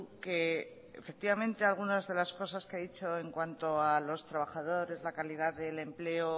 que efectivamente algunas de las cosas que ha dicho en cuanto a los trabajadores la calidad del empleo